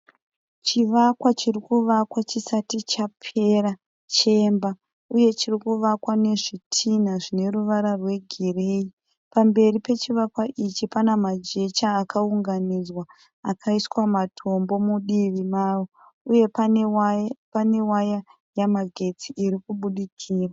Chivakwa chirikuvakwa chisati chapera chemba uye chirikuvakwa nezvitina zvineruva rwe gireyi. Pamberi pechivakwa ichi panemajecha akawunganidzwa akaiswa matombo mudivi mawo. Uye pane waya yemagesti irikubudikira.